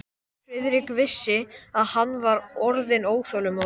Friðrik vissi, að hann var orðinn óþolinmóður.